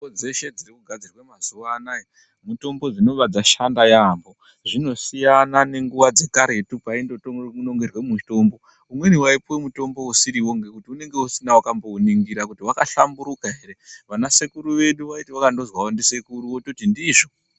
Mitombo dzeshe dzirikugadzirwe mazuva anaya mitombo dzinoba dzashanda yaambo. Zvinosiyana nenguva dzekaretu paindonongerwe mutombo. Umweni waipuwe mutombo usiriwo ngekuti unenge usina wakambouningira kuti wakahlamburuka here. Vana sekuru vedu vaiti vakandozwawo ndisekuru vototi ndizvo.